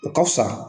O ka fusa